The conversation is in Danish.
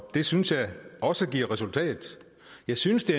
det synes jeg også giver resultat jeg synes det